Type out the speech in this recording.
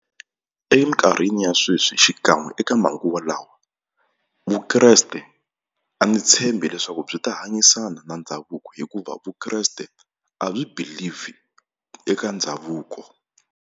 Eminkarhini ya sweswi xikan'we eka manguva lawa Vukreste a ndzi tshembi leswaku byi ta hanyisana na ndhavuko hikuva vukreste a byi believe eka ndhavuko.